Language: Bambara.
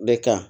Bɛ kan